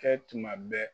Kɛ tuma bɛɛ